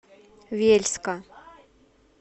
вельска